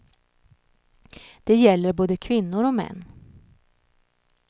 Det gäller både kvinnor och män.